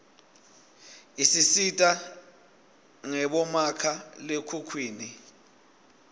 isisita ngebomakha lekhukhwini